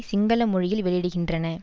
சிங்கள மொழியில் வெளியிடுகின்றன